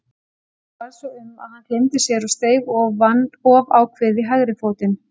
Honum varð svo um að hann gleymdi sér og steig of ákveðið í hægri fótinn.